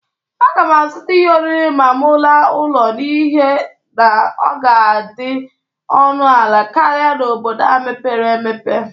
Aga m azụta ihe oriri ma mụ laa ụlọ n'ihe na ọ ga-adị ọnụ ala karịa n'obodo a mepere emepe.